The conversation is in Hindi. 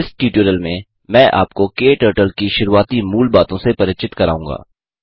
इस ट्यूटोरियल में मैं आपको क्टर्टल की शुरूआती मूल बातों से परिचित कराऊँगा